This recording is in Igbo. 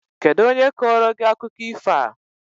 Kedụ onye kọọrọ gị akụkọ ifo a?